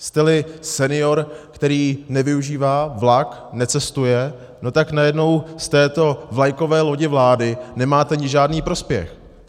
Jste-li senior, který nevyužívá vlak, necestuje, no tak najednou z této vlajkové lodi vlády nemáte žádný prospěch.